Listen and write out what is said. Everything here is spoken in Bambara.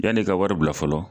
Yann'i ka wari bila fɔlɔ